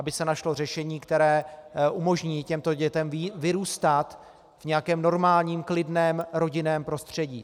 Aby se našlo řešení, které umožní těmto dětem vyrůstat v nějakém normálním klidném rodinném prostředí.